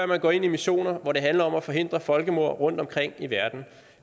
man går ind i missioner hvor det handler om at forhindre folkemord rundtomkring i verden